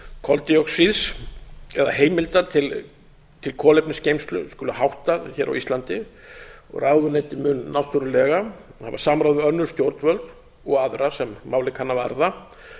koldíoxíðs eða heimildar til kolefnisgeymslu skuli háttað hér á íslandi og ráðuneytið mun náttúrlega hafa samráð við önnur stjórnvöld og aðra sem málið kann að varða